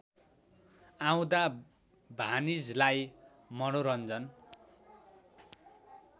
आउँदा भानिजलाई मनोरञ्जन